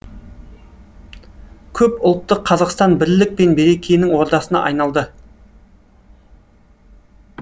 көп ұлтты қазақстан бірлік пен берекенің ордасына айналды